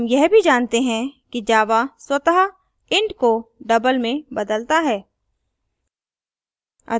हम यह भी जानते हैं कि java स्वतः int को double में बदलता है